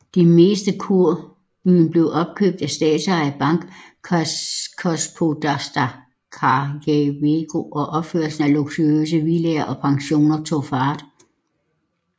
Det meste kurbyen blev opkøbt af den statsejede bank Gospodarstwa Krajowego og opførelsen af luksuriøse villaer og pensioner tog fart